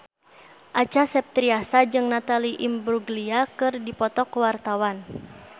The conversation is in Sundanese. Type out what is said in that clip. Acha Septriasa jeung Natalie Imbruglia keur dipoto ku wartawan